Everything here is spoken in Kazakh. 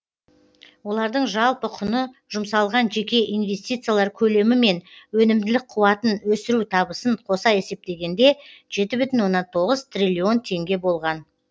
олардың жалпы құны жұмсалған жеке инвестициялар көлемі мен өнімділік қуатын өсіру табысын қоса есептегенде жеті бүтін оннан тоғыз триллион теңге болған